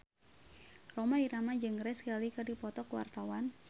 Rhoma Irama jeung Grace Kelly keur dipoto ku wartawan